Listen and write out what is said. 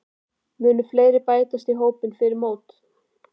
Munu fleiri bætast við hópinn fyrir mót?